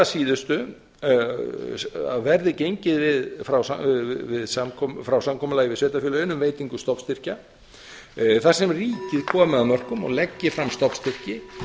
að síðustu að verði gengið frá samkomulagi við sveitarfélögin um veitingu stofnstyrkja þar sem ríkið komið að mörkum og leggi fram stofnstyrki